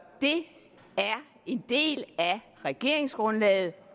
en del af regeringsgrundlaget